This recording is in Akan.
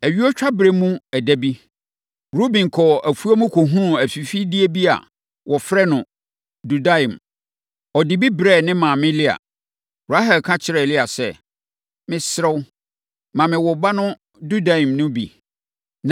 Ayuotwaberɛ mu ɛda bi, Ruben kɔɔ afuom kɔhunuu afifideɛ bi a wɔfrɛ no dudaim. Ɔde bi brɛɛ ne maame Lea. Rahel ka kyerɛɛ Lea sɛ, “Mesrɛ wo, ma me wo ba no dudaim + 30.14 dudaim: Yei ne sɛdeɛ wɔfrɛ dua no wɔ Hebri kasa mu. no bi.”